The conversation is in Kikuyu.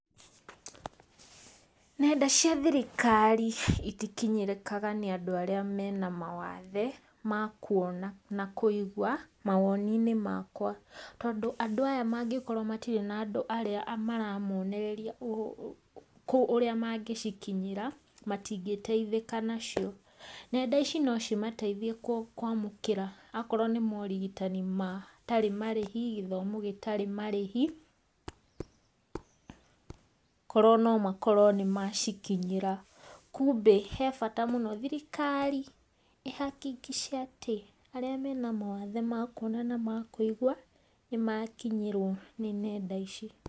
Nenda cia thirikari itikinyĩrĩkaga nĩ andũ arĩa mena mawathe, ma kuona na kũigwa, mawoni-inĩ makwa, tondũ andũ aya mangĩkorwo matirĩ na andũ arĩa maramonereria kũ ũrĩa mangĩcikinyĩra, matingĩteithĩka nacio, nenda ici no cimateithie kwamũkĩra, okorwo nĩ ta morigitani matarĩ marĩhi, gĩthomo gĩtarĩ marĩhi korwo no makorwo nĩ macikinyĩra, kumbĩ he bata mũno thirikari ĩhakikishe atĩ, arĩa mena mawathe makuona na ma kũigwa, nĩ makinyĩrwo nĩ nenda ici.